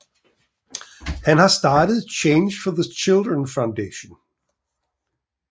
Han har startet Change for the Children Foundation